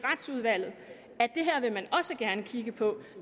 og retsudvalget at det her vil man også gerne kigge på